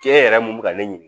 Cɛ yɛrɛ mun bɛ ka ne ɲini